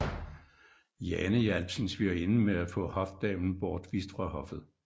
Jane hjalp sin svigerinde med at få hofdamen bortvist fra hoffet